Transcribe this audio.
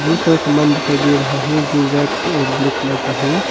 बहोत सारा सामान दिखाई दे रहा है जो रेड और ब्लैक कलर का है।